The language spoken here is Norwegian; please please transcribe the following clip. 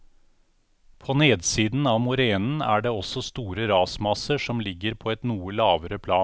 På nedsiden av morenen er det også store rasmasser som ligger på et noe lavere plan.